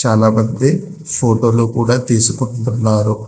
చాలా మంది ఫోటోలు కూడ తీసుకొంటున్నారు.